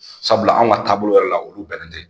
Sabula anw ka taabolo la olu bɛnnen tɛ.